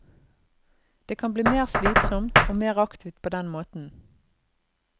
Det kan bli slitsommere, sannere og mer aktivt på den måten.